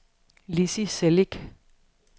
Lizzie Celik